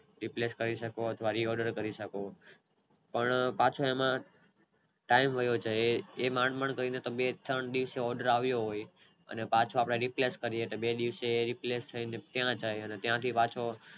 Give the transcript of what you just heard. Replays કરી શકો અથવા Re order કરી શકો પણ પાછો એમાં ટાઈમ વયો જાય એ માંડ માંડ કરીને તમારે એકાવન દિવસે order આવ્યો હોય અને પાછું આપડે Replays પાછું બે દિવસે Replays થઈ ને ત્યાં જાય અને ત્યાંથી પાછું